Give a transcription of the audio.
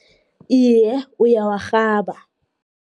Iye, uyawarhaba.